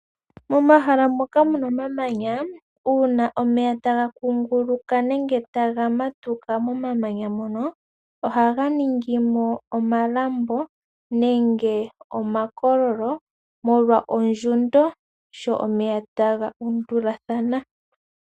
Momahala moka muna omamanya uuna omeya taga kunguluka, nenge taga matuka momamanya mono ohaga ningimo omalambo. Nenge omakololo molwa ondjundo sho omeya taga undulathana.